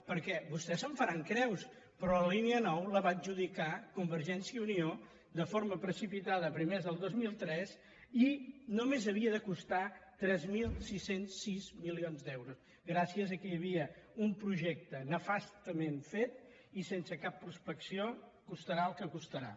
perquè vostès se’n faran creus però la línia nou la va adjudicar convergència i unió de forma precipitada a primers del dos mil tres i només havia de costar tres mil sis cents i sis milions d’euros gràcies que hi havia un projecte nefastament fet i sense cap prospecció costarà el que costarà